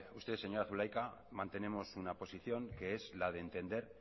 usted señora zulaika mantenemos una posición que es la de entender